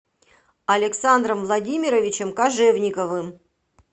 александром владимировичем кожевниковым